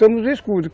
Somos escudos.